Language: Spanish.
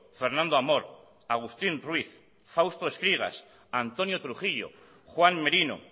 fernando amor agustín ruiz fausto escrigas antonio trujillo juan merino